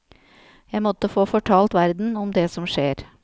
Jeg måtte få fortalt verden om det som skjer.